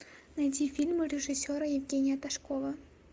найди фильмы режиссера евгения ташкова